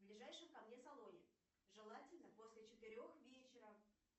в ближайшем ко мне салоне желательно после четырех вечера